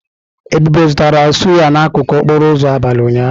Ebube zụtara sụ́yá n'akụkụ okporo ụzọ abalị ụnyaahụ.